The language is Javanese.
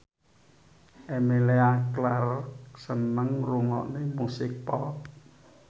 Emilia Clarke seneng ngrungokne musik pop